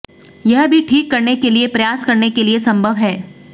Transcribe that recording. यह भी ठीक करने के लिए प्रयास करने के लिए संभव है